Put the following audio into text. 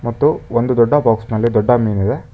ಮತ್ತು ಒಂದು ದೊಡ್ಡ ಬಾಕ್ಸ್ ನಲ್ಲಿ ದೊಡ್ಡ ಮೀನಿದೆ.